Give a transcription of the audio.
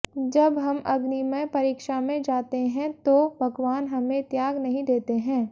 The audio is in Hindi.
जब हम अग्निमय परीक्षा में जाते हैं तो भगवान हमें त्याग नहीं देते हैं